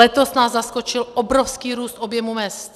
Letos nás zaskočil obrovský růst objemu mezd.